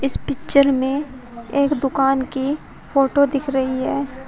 इस पिक्चर में एक दुकान की फोटो दिख रही है।